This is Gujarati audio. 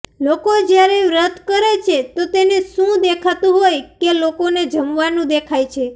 લોકો જયારે વ્રત કરે છે તો તેને શું દેખાતું હોય કે લોકોને જમવાનું દેખાય છે